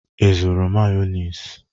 Ị zụrụ mayonezi?